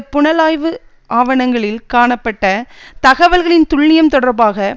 புலனாய்வு ஆவணங்களில் காணப்பட்ட தகவல்களின் துல்லியம் தொடர்பாக